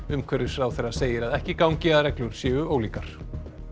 umhverfisráðherra segir að ekki gangi að reglur séu ólíkar